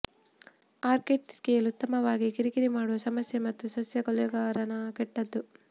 orchid scale ಅತ್ಯುತ್ತಮವಾಗಿ ಕಿರಿಕಿರಿ ಮಾಡುವ ಸಮಸ್ಯೆ ಮತ್ತು ಸಸ್ಯ ಕೊಲೆಗಾರನ ಕೆಟ್ಟದು